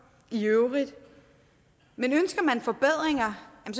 i øvrigt men ønsker man forbedringer